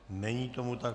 Není tomu tak.